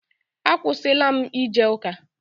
Akwụsịla m ije ụka.